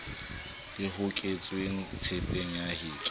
le hoketsweng tshepeng ya heke